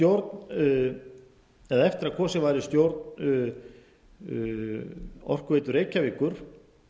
í stjórn eða eftir að kosið var í stjórn orkuveitu reykjavíkur